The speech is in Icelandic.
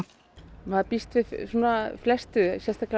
maður býst við svona flestu sérstaklega á